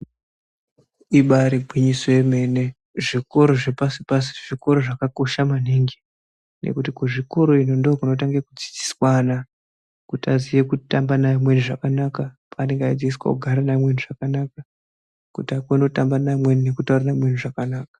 Ibaari gwinyiso yemene zvikora zvepashi-pashi zvikora zvakakosha maningi nekuti kuzvikoro ino ndokunotanga kudzidziswana kuti aziye kutamba namweni zvakanaka, kugara neamweni zvakanaka, kuti akone kutaura nekutamba neamweni zvakanaka.